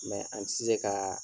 an tɛ se ka